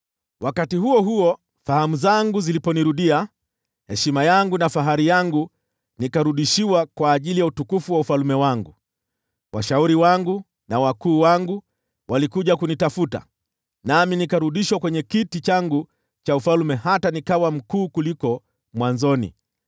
Wakati huo huo fahamu zangu ziliponirudia, nikarudishiwa heshima yangu na fahari yangu kwa ajili ya utukufu wa ufalme wangu. Washauri wangu na wakuu wangu walikuja kunitafuta, nami nikarudishwa kwenye kiti changu cha ufalme hata nikawa mkuu kuliko mwanzoni.